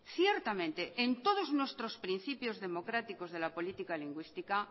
ciertamente en todos nuestros principios democráticos de la política lingüística